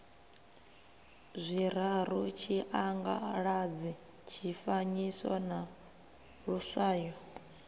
zwiraru tshiangaladzi tshifanyiso na luswayo